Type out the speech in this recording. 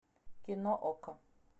кино окко